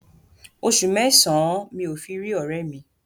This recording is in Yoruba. Oṣù mẹ́sàn-án mi ò fi rí ọ̀rẹ́ẹ̀ mi.